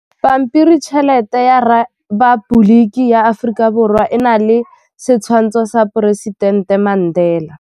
Pampiritšheletê ya Repaboliki ya Aforika Borwa e na le setshwantshô sa poresitentê Mandela.